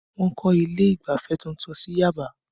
Wọ́n kọ́ ilé ìgbafẹ́ tuntun sí Yaba